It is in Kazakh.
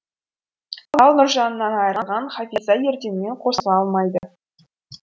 ал нұржанынан айырылған хафиза ерденмен қосыла алмайды